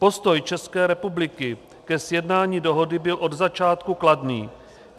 Postoj České republiky ke sjednání dohody byl od začátku kladný.